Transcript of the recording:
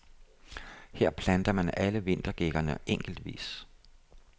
Her planter man alle vintergækkerne enkeltvis.